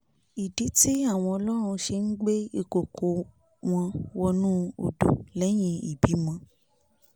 ìdí tí àwọn ọlọ́run ṣe ń gbé ìkọ̀kọ̀ ò wọ́n wọnú odò lẹ́yìn ìbímọ